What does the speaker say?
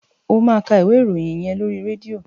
Ó máa ka ìwé ìròyìn yẹn lóri rédíò.